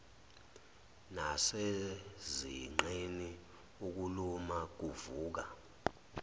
nasezinqeni ukuluma kuvuka